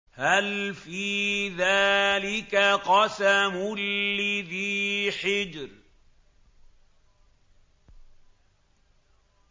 هَلْ فِي ذَٰلِكَ قَسَمٌ لِّذِي حِجْرٍ